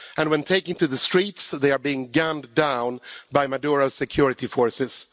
When taking to the streets they are being gunned down by Maduro's security forces.